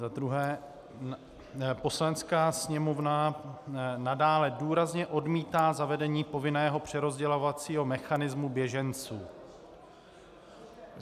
Za druhé: Poslanecká sněmovna nadále důrazně odmítá zavedení povinného přerozdělovacího mechanismu běženců.